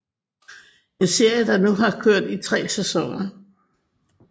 En serie der nu har kørt i tre sæsoner